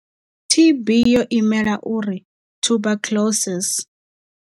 T_B yo imela uri tuberculosis.